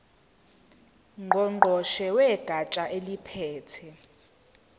ngqongqoshe wegatsha eliphethe